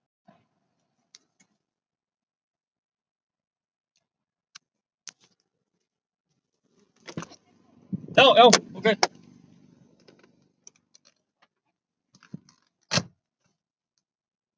Fyrri hálfleikur var góður og við vorum ofan á ef eitthvað var.